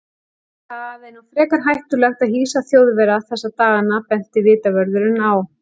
Það er nú frekar hættulegt að hýsa Þjóðverja þessa dagana benti vitavörðurinn á.